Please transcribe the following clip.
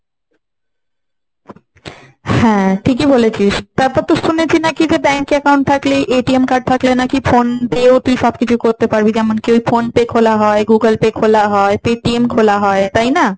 হ্যাঁ ঠিকই বলেছিস। তারপর তো শুনেছি নাকি bank এ account থাকলে নাকি card থাকলে নাকি phone থেকে ও তুই সবকিছু করতে পারবি। যেমন কি ওই phone pay খোলা হয়, google pay খোলা হয়, pay TM খোলা হয়। তাই না?